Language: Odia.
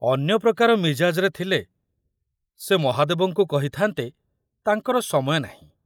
ଅନ୍ୟ ପ୍ରକାର ମିଜାଜରେ ଥିଲେ ସେ ମହାଦେବଙ୍କୁ କହିଥାନ୍ତେ ତାଙ୍କର ସମୟ ନାହିଁ।